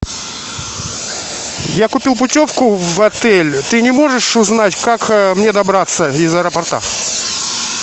я купил путевку в отель ты не можешь узнать как мне добраться из аэропорта